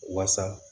Wasa